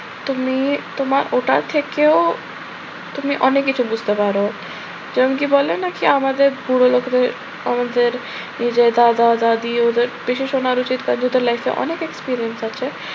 তুমি তোমার ওটার থেকেও তুমি অনেক কিছু বুঝতে পারো। যেমন কি বলে নাকি আমাদের বুড়োলোকেদের আমাদের এই যে দাদা-দাদি ওদের অনেক experience আছে।